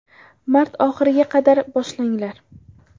Mart oxiriga qadar boshlanglar.